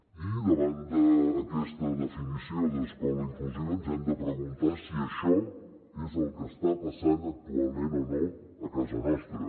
i davant d’aquesta definició d’ escola inclusiva ens hem de preguntar si això és el que està passant actualment o no a casa nostra